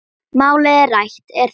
Málið rætt er þar.